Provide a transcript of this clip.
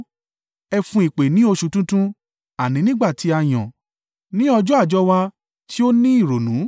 Ẹ fún ìpè ní oṣù tuntun àní nígbà tí a yàn; ní ọjọ́ àjọ wa tí ó ní ìrònú.